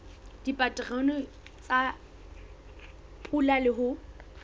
dipaterone tsa pula le ho